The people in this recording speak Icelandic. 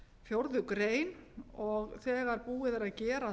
fjórðu greinar og þegar búið er að gera